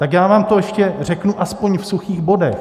Tak já vám to ještě řeknu aspoň v suchých bodech.